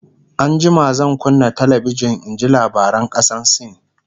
an jima zan kunna talabijan in ji labaran kasan sin